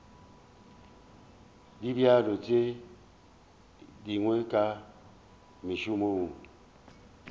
dibjalo tše dingwe ka mašemong